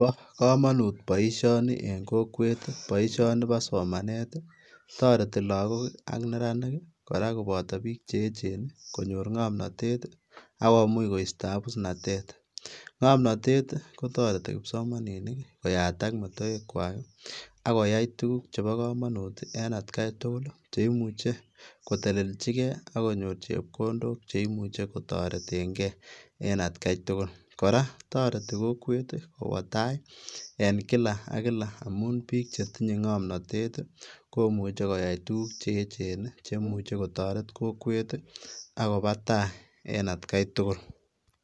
Bo kamanut boisioni en kokwet ii, boisioni bo somanet ii taretii lagook ii ak neranik kora kobataa biik che eecheen konyoor ngamnatet ii akomuuch koistaa abusnatet ii, ngonamtet ii kotaretii kipsomaninik koyataak metoekwaak ako yai tuguuk chebo kamanut en at gai tugul cheimuchei ii koteleljigei ak konyoor chepkondook cheimuchei kotareteen gei en at gai tugul, kora kotaretii kokweet ii kowaa tai ii en kila ak kila amuun biik che tinyei ngamnatet ii komuuchei koyai tuguk che eecheen ii chemuchei kotaret kokwet ak kowa tai en at gai tugul.